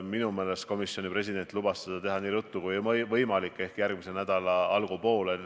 Minu meelest komisjoni president lubas seda teha nii ruttu kui võimalik ehk järgmise nädala algupoolel.